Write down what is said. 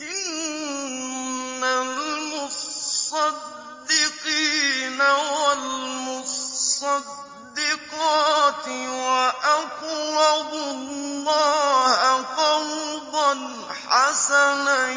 إِنَّ الْمُصَّدِّقِينَ وَالْمُصَّدِّقَاتِ وَأَقْرَضُوا اللَّهَ قَرْضًا حَسَنًا